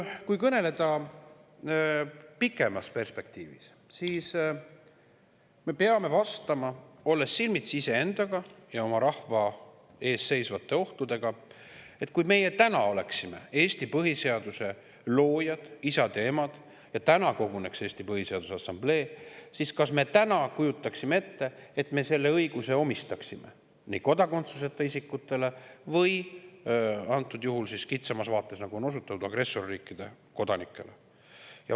Kui kõneleda pikemas perspektiivis, siis mida me endale vastaksime, olles silmitsi iseendaga ja oma rahva ees seisvate ohtudega, et kui meie täna oleksime Eesti põhiseaduse loojad, isad ja emad, ja täna koguneks Eesti Põhiseaduse Assamblee, kas me siis kujutaksime ette, et me selle õiguse kodakondsuseta isikutele või antud juhul, kitsamas vaates, nagu on osutatud, agressorriikide kodanikele?